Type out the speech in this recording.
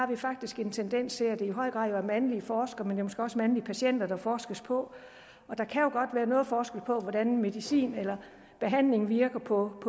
der faktisk en tendens til at det i høj grad er mandlige forskere men det er måske også mandlige patienter der forskes på og der kan jo godt være noget forskel på hvordan medicin eller behandling virker på